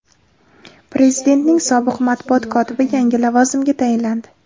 Prezidentning sobiq matbuot kotibi yangi lavozimga tayinlandi.